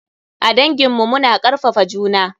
A dangin mu. Mu na karfafa juna.